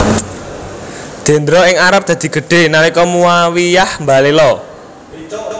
Dendra ing Arab dadi gedhé nalika Muawiyyah mbalela